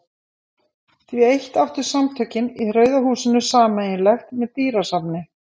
Því eitt áttu Samtökin í Rauða húsinu sameiginlegt með dýrasafni